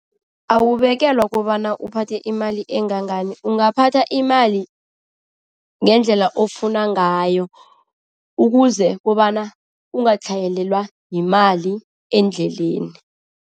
Awubekelwa kobana uphathe imali engangani. Ungaphatha imali ngendlela ofuna ngayo ukuze kobana ungatlhayelelwa yimali endleleni.